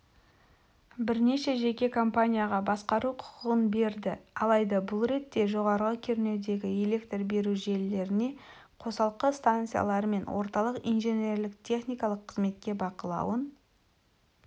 бірнеше жеке компанияға басқару құқын берді алайда бұл ретте жоғары кернеудегі электр беру желілеріне қосалқы станциялар мен орталық инженерлік-техникалық қызметке бақылауын